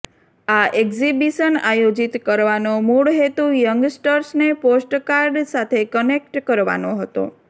આ એક્ઝિબિશન આયોજિત કરવાનો મૂળ હેતુ યંગસ્ટર્સને પોસ્ટકાર્ડ સાથે કનેક્ટ કરવાનો હતો